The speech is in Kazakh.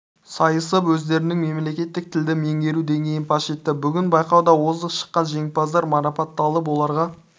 сайысып өздерінің мемлекеттік тілді меңгеру деңгейін паш етті бүгін байқауда озық шықан жеңімпаздар марапатталып оларға